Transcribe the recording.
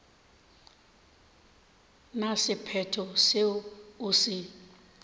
na sephetho seo o se